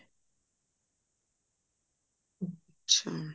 ਅੱਛਾ